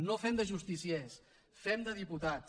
no fem de justiciers fem de diputats